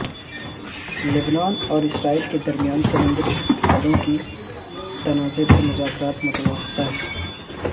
لبنان اور اسرائیل کے درمیان سمندری حدود کے تنازعے پر مذاکرات متوقع